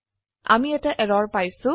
আমি এটা এৰৰ পাইছো